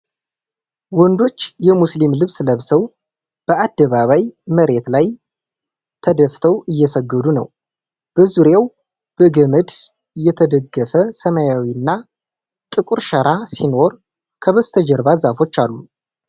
ወንዶች የሙስሊም ልብስ ለብሰው በዐደባባይ መሬት ላይ ተደፍተዉ እየሰገዱ ነው። በዙሪያው በገመድ የተደገፈ ሰማያዊና ጥቁር ሸራ ሲኖር ከበስተጀርባ ዛፎች አሉ።